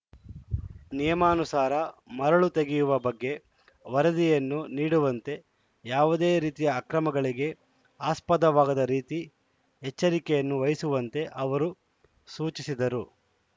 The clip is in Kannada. ನಿಯಮಾನುಸಾರ ಮರಳು ತೆಗೆಯುವ ಬಗ್ಗೆ ವರದಿಯನ್ನು ನೀಡುವಂತೆ ಯಾವುದೇ ರೀತಿಯ ಅಕ್ರಮಗಳಿಗೆ ಆಸ್ಪದವಾಗದ ರೀತಿ ಎಚ್ಚರಿಕೆಯನ್ನು ವಹಿಸುವಂತೆ ಅವರು ಸೂಚಿಸಿದರು